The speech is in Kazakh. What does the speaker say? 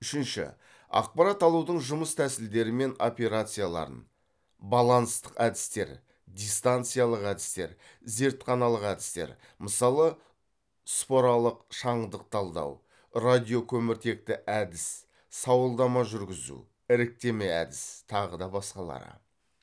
үшінші ақпарат алудың жұмыс тәсілдері мен операцияларын баланстық әдістер дистанциялық әдістер зертханалық әдістер мысалы споралық шаңдық талдау радиокөміртекті әдіс сауалдама жүргізу іріктеме әдіс тағы да басқалары